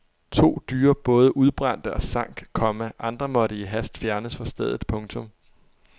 To dyre både udbrændte og sank, komma andre måtte i hast fjernes fra stedet. punktum